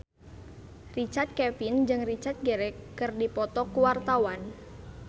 Richard Kevin jeung Richard Gere keur dipoto ku wartawan